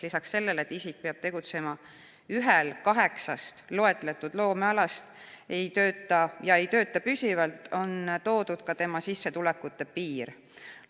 Lisaks sellele, et isik peab tegutsema ühel kaheksast loetletud loomealast ega tööta püsivalt, on toodud ka tema sissetulekute piir.